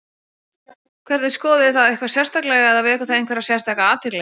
Hvernig, skoðuð þið það eitthvað sérstaklega eða vekur það einhverja sérstaka athygli?